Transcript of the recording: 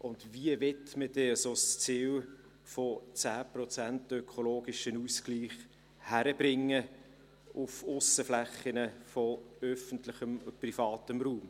Und wie will man denn ein solches Ziel von 10 Prozent ökologischem Ausgleich hinbekommen auf Aussenflächen von öffentlichem und privatem Raum?